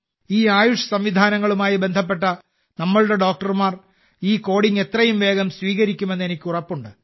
ഈ ആയുഷ് സംവിധാനങ്ങളുമായി ബന്ധപ്പെട്ട നമ്മളുടെ ഡോക്ടർമാർ ഈ കോഡിംഗ് എത്രയും വേഗം സ്വീകരിക്കുമെന്ന് എനിക്ക് ഉറപ്പുണ്ട്